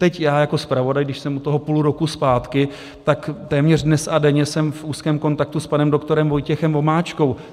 Teď já jako zpravodaj, když jsem u toho půl roku zpátky, tak téměř dnes a denně jsem v úzkém kontaktu s panem doktorem Vojtěchem Vomáčkou.